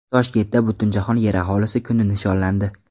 Toshkentda Butunjahon Yer aholisi kuni nishonlandi.